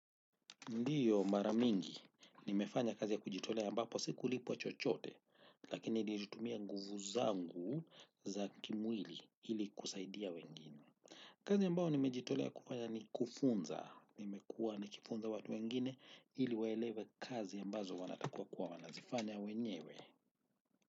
Ndio mara mingi, nimefanya kazi ya kujitolea ambapo sikulipwa chochote, lakini nilitumia nguvu zangu za kimwili ili kusaidia wengine. Kazi ambayo nimejitolea kufanya ni kufunza, nimekuwa nikifunza watu wengine ili waelewe kazi ambazo wanatakiwa kuwa wanazifanya wenyewe.